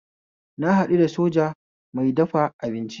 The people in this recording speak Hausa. Na haɗu da soja mai dafa abinci